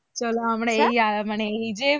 চলো আমরা এই মানে এই যে